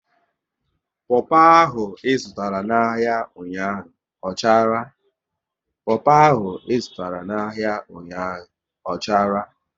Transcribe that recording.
Popo ahụ ị zụtara n'ahia ụnyaahụ ọ chara?